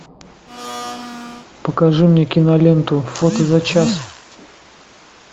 покажи мне киноленту фото за час